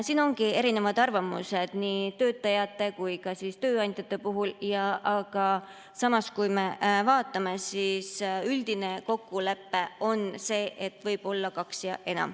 Siin on erinevad arvamused nii töötajate kui ka tööandjate puhul, aga samas, üldine kokkulepe on see, et võib olla kaks ja enam.